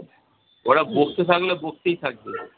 ওরা বকতে থাকলে বকতেই থাকবে।